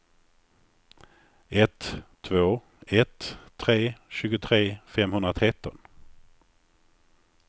ett två ett tre tjugotre femhundratretton